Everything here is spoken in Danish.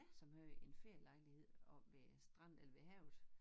Som havde en ferielejlighed oppe ved stranden eller ved havet